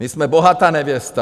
My jsme bohatá nevěsta!